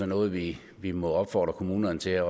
noget vi vi må opfordre kommunerne til at